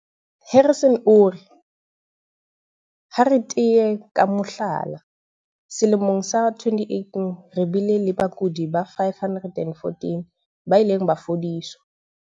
Harrison o re, "Ha re tea ka mohlala, selemong sa 2018 re bile le bakudi ba 514 ba ileng ba fodiswa".